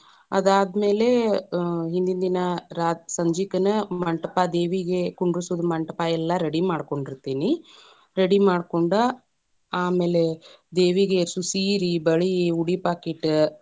ಅದಾದ ಮೇಲೆ ಆ ಹಿಂದಿನ ದಿನಾ ರಾ ಸಂಜಿಕನ ಮಂಟಪ ದೇವಿಗೆ ಕುಂದ್ರಸೋದು ಮಂಟಪ ಎಲ್ಲಾ ready ಮಾಡ್ಕೊಂಡಿರತೇನಿ, ready ಮಾಡ್ಕೊಂಡ, ಆಮೇಲೆ ದೇವಿಗೆ ಅಷ್ಟು ಸೀರಿ, ಬಳಿ, ಉಡಿಪಾಕಿಟ್ಟ.